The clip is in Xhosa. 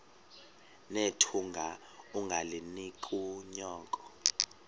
nethunga ungalinik unyoko